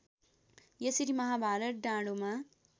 यसरी महाभारत डाँडोमा